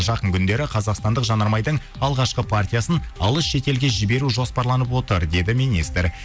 жақын күндері қазақстандық жанармайдың алғашқы партиясын алыс шетелге жіберу жоспарланып отыр деді министр